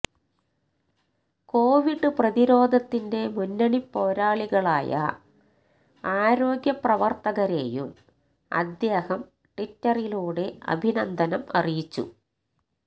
Covid പ്രതിരോധത്തിൻ്റെ മുന്നണി പോരാളികളായ ആരോഗ്യ പ്രവര്ത്തകരേയും അദ്ദേഹം ട്വിറ്ററിലൂടെ അഭിനന്ദനം അറിയിച്ചു